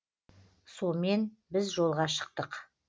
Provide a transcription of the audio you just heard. сомен біз жолға шықтық